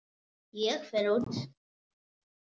Ég fer út.